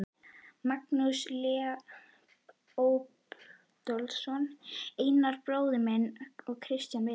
Magnús Leópoldsson, Einar bróðir minn og Kristján Viðar.